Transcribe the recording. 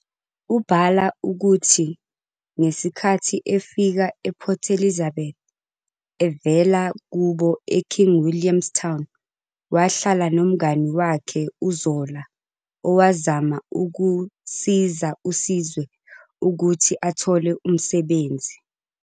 Ubhala ukuthi ngesikhathi efika ePort Elizabeth evela kubo eKing William's Town, wahlala nomngani wakhe uZola owazama ukusiza uSizwe ukuthi athole umsebenzi.